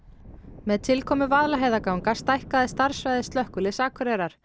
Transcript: með tilkomu Vaðlaheiðarganga stækkaði starfssvæði Slökkviliðs Akureyrar